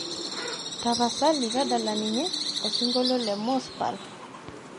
tapasali tadala ninye osingolio le mos pal